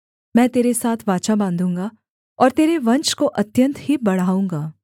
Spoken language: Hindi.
मैं तेरे साथ वाचा बाँधूँगा और तेरे वंश को अत्यन्त ही बढ़ाऊँगा